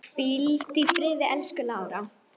Hvíldu í friði, elsku Lára.